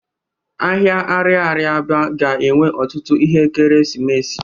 Ahịa arịarịa Aba ga-enwe otutu ihe ekeresimesi.